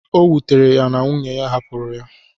O wutere ya na nwunye hapụrụ ya.